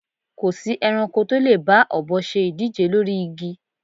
Kò sí ẹranko tó lè bá ọ̀bọ se ìdíje lórí igi